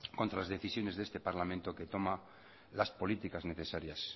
contra las decisiones de este parlamento que toma las políticas necesarias